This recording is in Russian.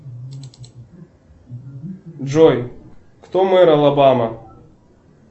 джой кто мэр алабама